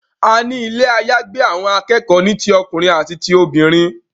àní Ilé àyágbé àwọn akẹ́kọ̀ọ́ ní tí ọkùnrin àti tí ọkùnrin.